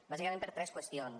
bàsicament per tres qüestions